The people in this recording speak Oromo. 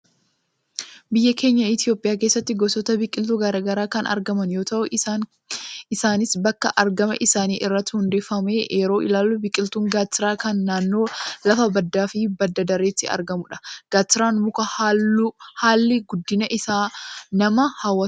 Biyya keenya Itoophiyaa keessatti gosoota biqiltu garaagara kan argaman yoo ta'u, isaanis bakka argama isaanii irratti hundoofnee yeroo ilaallu biqiltuun Gaattiraa kan naannoo lafa baddaa fi badda dareetti argamudha. Gaatiraan muka halli guddinni isaa nama hawwatudha.